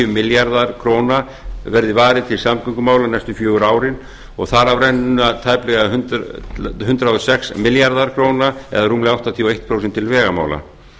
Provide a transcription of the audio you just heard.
milljarðar króna verði varið til samgöngumála næstu fjögur árin og þar af renna tæplega hundrað og sex milljarðar króna eða rúmlega áttatíu og eitt prósent til vegamála